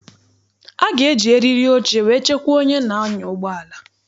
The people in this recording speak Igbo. A ga-eji eriri oche wee chekwaa onye na-anya ụgbọala.